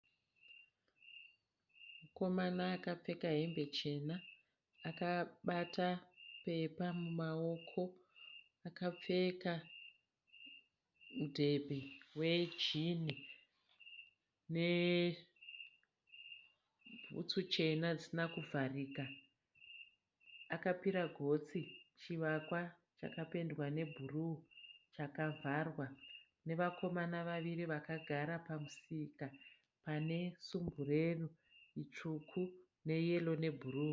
Mukomana akapfeka hembe chena, akabata pepa mumawoko akapfeka mudhebhe wejini nebhutsu chena dzisina kuvharika akapira gotsi chivakwa chakapendwa nebhuru chakavharwa nevakomana vaviri vakagara pamusika pane sumbureru itsvuku neyero nebhuru.